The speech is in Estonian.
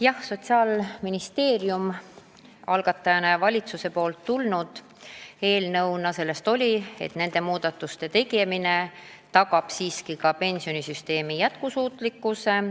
Jah, Sotsiaalministeerium algatajana ja ka valitsus on kinnitanud, et nende muudatuste tegemine tagab ka pensionisüsteemi jätkusuutlikkuse.